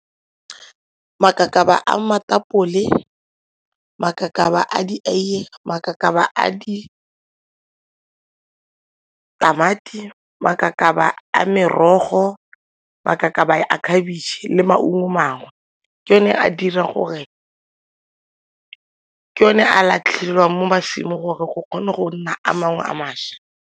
Makakaba a makakaba a dieiye, makakaba a ditamati, makakaba a mmerogo, makakaba a khabitšhe le maungo mangwe ke one a latlhelwang mo gore go kgone go nna a mangwe a mašwa.